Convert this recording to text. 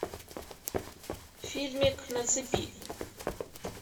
фильмик на цепи